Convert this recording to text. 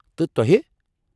تہٕ تۄہہِ؟